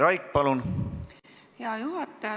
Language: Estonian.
Aitäh, hea juhataja!